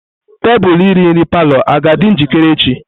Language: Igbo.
Tebụl iri nri palọ aga-adị njikere echi?